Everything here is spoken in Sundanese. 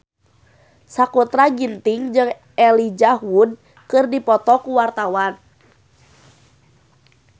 Sakutra Ginting jeung Elijah Wood keur dipoto ku wartawan